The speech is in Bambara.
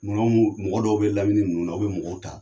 mun mɔgɔ dɔw bɛ lamini ninnu na, aw bɛ mɔgɔw ta,